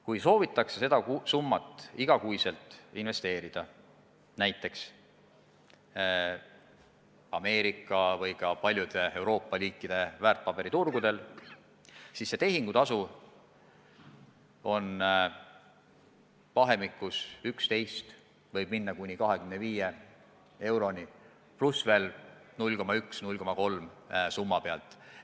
Kui soovitakse seda summat igakuiselt investeerida, näiteks Ameerika või ka paljude Euroopa riikide väärtpaberiturgudel, siis tehingutasu on 11 kuni 25 eurot, pluss veel 0,1–0,3% summa pealt.